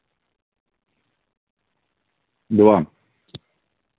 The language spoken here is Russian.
два